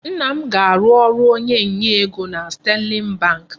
Nna m ga-arụ ọrụ onye nye ego na Sterling bank.